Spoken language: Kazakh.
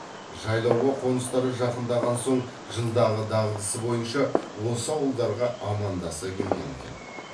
жайлауға қоныстары жақындаған соң жылдағы дағдысы байынша осы ауылдарға амандаса келген екен